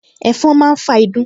Ẹ̀fọn máa ń fa ìdun